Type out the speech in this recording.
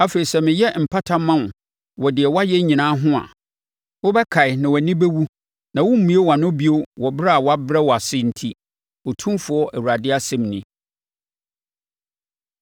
Afei sɛ meyɛ mpata ma wo wɔ deɛ woayɛ nyinaa ho a, wobɛkae na wʼani bɛwu na woremmue wʼano bio wɔ brɛ a wɔabrɛ wo ase enti, Otumfoɔ Awurade asɛm nie.’ ”